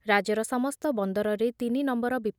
ରାଜ୍ୟର ସମସ୍ତ ବନ୍ଦରରେ ତିନି ନମ୍ବର